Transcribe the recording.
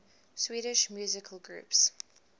swedish musical groups